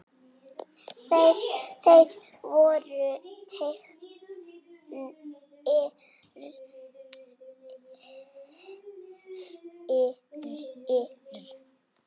Þeir voru teknir fyrir.